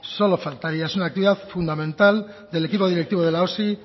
solo faltaría es una actividad fundamental del equipo directivo de la osi